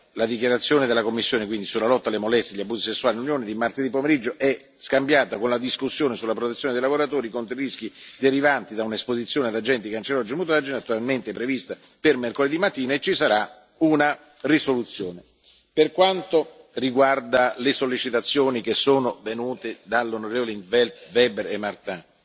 La dichiarazione della Commissione sulla lotta alle molestie e agli abusi sessuali nell'Unione di martedì pomeriggio è scambiata con la discussione sulla protezione dei lavoratori contro i rischi derivanti da un'esposizione ad agenti cancerogeni o mutageni, attualmente prevista per mercoledì mattina, e ci sarà una risoluzione. Per quanto riguarda le sollecitazioni che sono venute dagli onn. in 't Veld, Weber e Martin,